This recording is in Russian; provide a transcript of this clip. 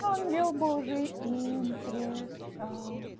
ангел божий им предстал